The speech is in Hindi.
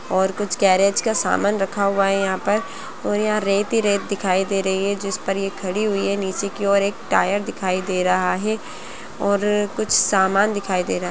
और कुछ गैरेज का सामान रखा हुआ हैयहाँ पर और यहाँ रेत ही रेत दिखाई दे रही है जिस पर ये खड़ी हुई है निचे की और एक टायर दिखाई दे रहा हे और कुछ सामान दिखाई दे रहा है।